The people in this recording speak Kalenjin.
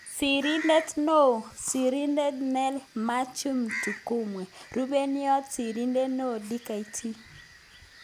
Sirindet neoo(sirindet nell Methew Mtigumwe. Rupeiywot sirindet neoo-Dkt